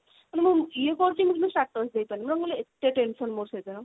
ମାନେ ମୁଁ ଇଏ କରୁଛି କିନ୍ତୁ ମୁଁ status ଦେଇପାରୁନି ମାନେ ମୋର ଏତେ ଏତେ tension ସେଦିନ